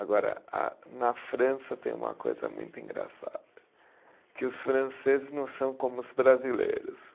Agora ah, na França tem uma coisa muito engraçada, que os franceses não são como os brasileiros.